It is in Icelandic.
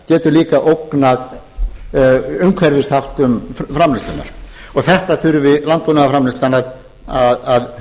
getur líka ógnað umhverfisþáttum framleiðslunnar og þessu þurfi landbúnaðarframleiðslan að huga að